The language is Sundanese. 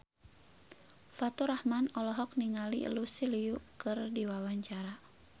Faturrahman olohok ningali Lucy Liu keur diwawancara